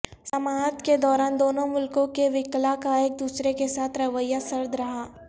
سماعت کے دوران دونوں ملکوں کے وکلا کا ایک دوسرے کے ساتھ رویہ سرد رہا